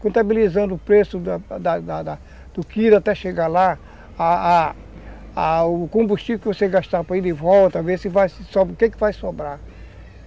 contabilizando o preço da da da do quilo até chegar lá, a a o combustível que você gastaram, para ver se vai sobrar, o que é que vai sobrar.